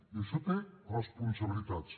i això té responsabilitats